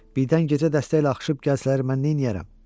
Birdən gecə dəstə ilə axışıb gəlsələr mən neyləyərəm?